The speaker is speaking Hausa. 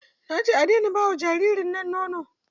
Na ce a daina ba wa jaririn nan nono!